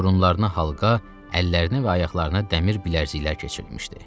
Burunlarına halqa, əllərinə və ayaqlarına dəmir bilərziklər keçirilmişdi.